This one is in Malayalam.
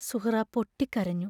സുഹ്റാ പൊട്ടിക്കരഞ്ഞു.